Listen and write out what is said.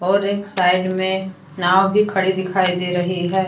और एक साइड में नाव भी खड़ी दिखाई दे रही है।